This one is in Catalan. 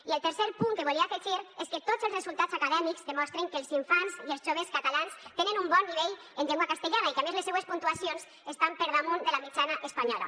i el tercer punt que volia afegir és que tots els resultats acadèmics demostren que els infants i els joves catalans tenen un bon nivell en llengua castellana i que a més les seues puntuacions estan per damunt de la mitjana espanyola